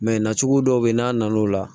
Mɛ nacogo dɔw bɛ yen n'a na n'o la